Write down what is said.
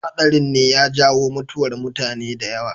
Haɗarin ne ya jawo mutuwar mutane da yawa.